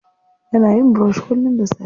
Yana yin brush kullum da safe.